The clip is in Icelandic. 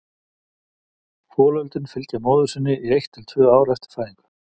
Folöldin fylgja móður sinni í eitt til tvö ár eftir fæðingu.